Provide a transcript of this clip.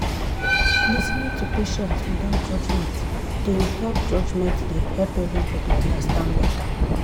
lis ten ing to patient without judgment dey help judgment dey help everybody understand better.